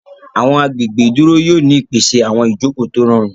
Àwọn agbègbè ìdúró yóò ní ìpèsè àwọn Ìjoko tó rọrùn.